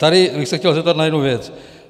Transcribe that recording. Tady bych se chtěl zeptat na jednu věc.